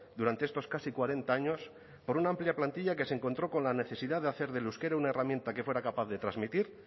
durante estos casi cuarenta años por una amplia plantilla que se encontró con la necesidad de hacer del euskera una herramienta que fuera capaz de transmitir